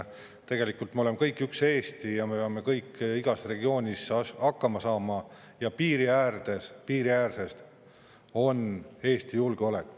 Tegelikult me oleme kõik üks Eesti ja me peame kõik igas regioonis hakkama saama ja piiriäärsetes on Eesti julgeolek.